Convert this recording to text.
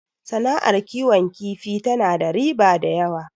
Sana'ar kiwon kifi tana da riba da yawa